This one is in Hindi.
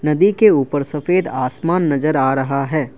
नदी के ऊपर सफेद आसमान नजर आ रहा है।